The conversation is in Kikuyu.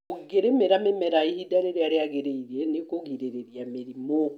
ũngĩrĩmĩra mĩmera ihinda rĩrĩa rĩagĩrĩire nĩũkũrigĩrĩria mĩrimũ.